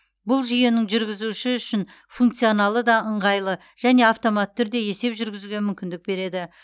бұл жүйенің жүргізуші үшін функционалы да ыңғайлы және автоматты түрде есеп жүргізуге мүмкіндік береді